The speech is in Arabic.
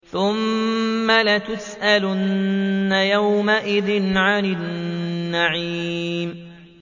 ثُمَّ لَتُسْأَلُنَّ يَوْمَئِذٍ عَنِ النَّعِيمِ